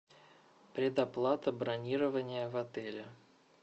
предоплата бронирования в отеле